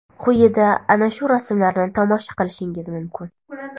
Quyida ana shu rasmlarni tomosha qilishingiz mumkin.